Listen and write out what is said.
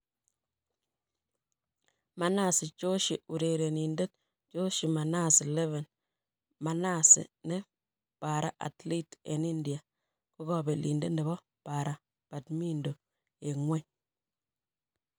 Manasi Joshi urerenindet joshimanasi11 Manasi, ne para- athlete eng' India, ko kobelindet nebo para -badminton eng' ngwony.